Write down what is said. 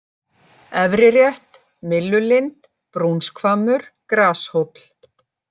Efrirétt, Myllulind, Brúnshvammur, Grashóll